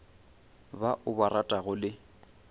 ba o ba ratago le